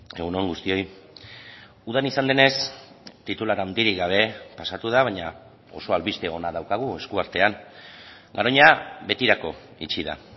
egun on guztioi udan izan denez titular handirik gabe pasatu da baina oso albiste ona daukagu esku artean garoña betirako itxi da